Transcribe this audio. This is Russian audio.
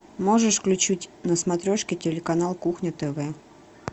можешь включить на смотрешке телеканал кухня тв